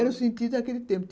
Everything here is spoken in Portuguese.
Era o sentido daquele tempo.